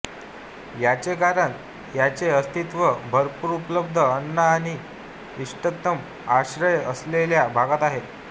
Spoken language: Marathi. याचे कारण याचे अस्तित्व भरपूर् उपलब्ध अन्न आणि इष्टतम आश्रय असलेल्या भागात आहे